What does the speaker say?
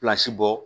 bɔ